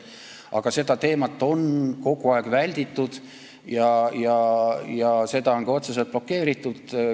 Aga seda teemat on kogu aeg välditud ja seda on ka otseselt blokeeritud.